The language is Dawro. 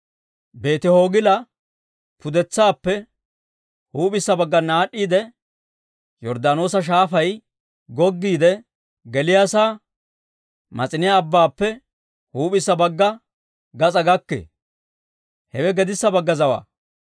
Beeti-Hoogila pudetsaappe huup'issa baggana aad'd'iidde, Yorddaanoosa Shaafay goggiidde geliyaasaa, Mas'iniyaa Abbaappe huup'issa bagga gas'aa gakkee. Hewe gedissa bagga zawaa.